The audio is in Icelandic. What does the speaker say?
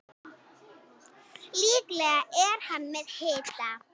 Líklega er hann með hita.